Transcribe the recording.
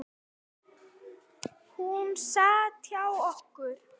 Hún sat hjá okkur